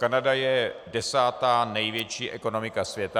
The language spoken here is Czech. Kanada je desátá největší ekonomika světa.